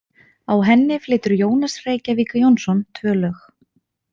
Á henni flytur Jónas Reykjavík Jónsson tvö lög.